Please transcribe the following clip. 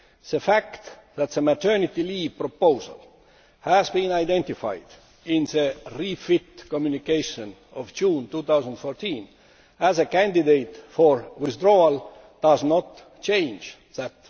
The fact that the maternity leave proposal has been identified in the REFIT communication of June 2014 as a candidate for withdrawal does not change that.